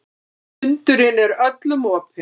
Fundurinn er öllum opinn